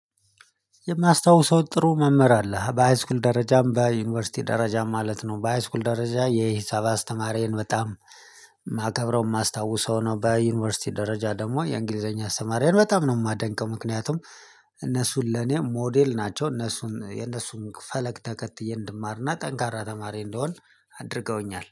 የማስታውሰው ጥሩ መምህር አለ በሃይስኩል ደረጃም በዩኒቨርሲቲ ደረጃም ማለት ነው። በሃይስኩል ደረጃ የሂሳብ አስተማሪዬን በጣም የማከብረው የማስታውሰው ነው። በዩኒቨርሲቲ ደረጃ ደግሞ የእንግሊዘኛ አስተማሪዬን በጣም ነው የማደንቀው። ምክንያቱም እነሱ ለኔ ሞዴል ናቸው። እነሱን የነሱን ፈለግ ተከትዬ እንድማርና ጠንካራ ተማሪ እንድሆን አድርገውኛል